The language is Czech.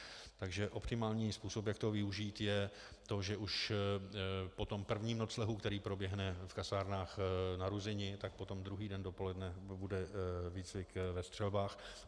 Takže optimální způsob, jak to využít, je to, že už po tom prvním noclehu, který proběhne v kasárnách na Ruzyni, tak potom druhý den dopoledne bude výcvik ve střelbách.